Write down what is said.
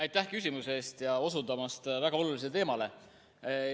Aitäh küsimuse eest ja aitäh osundamast väga olulisele teemale!